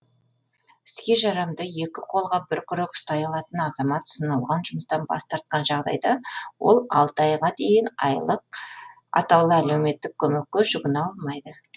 іске жарамды екі қолға бір күрек ұстай алатын азамат ұсынылған жұмыстан бас тартқан жағдайда ол алты айға дейін айлық әлеуметтік көмекке жүгіне алмайды